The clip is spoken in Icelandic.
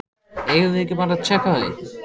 Eigum við ekki bara að tékka á því?